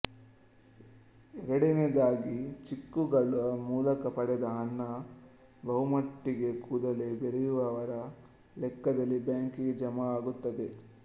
ಎರಡನೆಯದಾಗಿ ಚೆಕ್ಕುಗಳ ಮೂಲಕ ಪಡೆದ ಹಣ ಬಹುಮಟ್ಟಿಗೆ ಕೂಡಲೇ ಬೇರೆಯವರ ಲೆಕ್ಕದಲ್ಲಿ ಬ್ಯಾಂಕಿಗೆ ಜಮಾ ಆಗುತ್ತದೆ